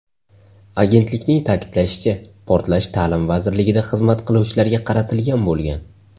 Agentlikning ta’kidlashicha, portlash ta’lim vazirligida xizmat qiluvchilarga qaratilgan bo‘lgan.